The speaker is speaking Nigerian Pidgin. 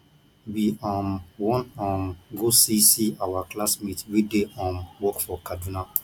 we um wan um go see see our classmate wey dey um work for kaduna